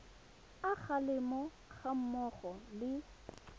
a kgalemo ga mmogo le